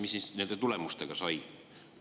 Mis siis nendest tulemustest sai?